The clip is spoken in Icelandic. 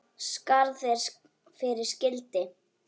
Skarð er fyrir skildi.